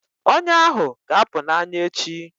Ọnya ahụ ga-apụ na anya echi